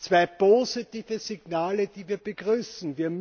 zwei positive Signale, die wir begrüßen.